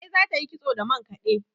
Larai za ta yi kitso da mankade